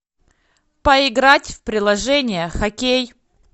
поиграть в приложение хоккей